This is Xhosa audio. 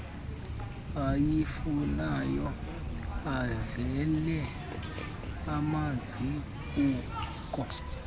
ayifunayo avale amazibuko